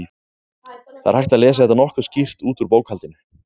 Það er hægt að lesa þetta nokkuð skýrt út úr bókhaldinu.